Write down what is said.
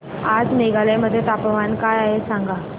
आज मेघालय मध्ये तापमान काय आहे सांगा